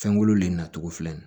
Fɛnkolo le na cogo filɛ nin ye